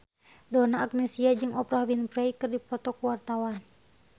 Donna Agnesia jeung Oprah Winfrey keur dipoto ku wartawan